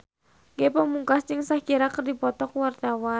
Ge Pamungkas jeung Shakira keur dipoto ku wartawan